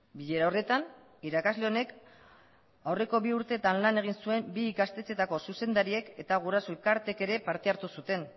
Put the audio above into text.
bilera horretan irakasle honek aurreko bi urteetan lan egin zuen bi ikastetxeetako zuzendariek eta guraso elkarteek ere parte hartu zuten